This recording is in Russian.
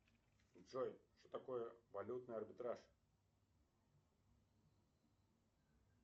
джой что такое валютный арбитраж